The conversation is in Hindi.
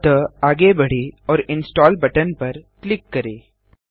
अतः आगे बढ़ें और इंस्टॉल बटन पर क्लिक करें